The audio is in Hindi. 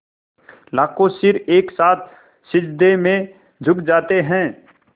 लाखों सिर एक साथ सिजदे में झुक जाते हैं